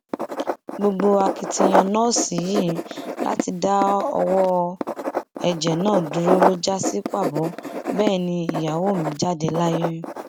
gbogbo akitiyan nọọsì yìí láti dá ọwọn ẹjẹ náà dúró ló já sí pàbó bẹẹ ni ìyàwó mi jáde láyé